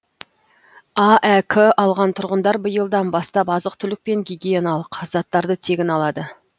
аәк алған тұрғындар биылдан бастап азық түлік пен гигиеналық заттарды тегін алады